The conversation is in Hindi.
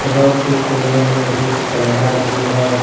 रोड के कोने में एक कैमरा भी है।